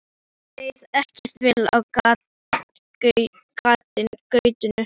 Lillu leið ekkert vel á gatinu.